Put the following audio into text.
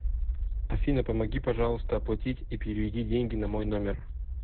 афина помоги пожалуйста оплатить и переведи деньги на мой номер